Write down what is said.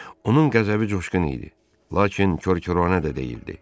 Onun qəzəbi coşqun idi, lakin korkorənə də deyildi.